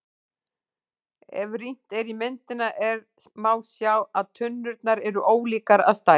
Ef rýnt er í myndina er má sjá að tunnurnar eru ólíkar að stærð.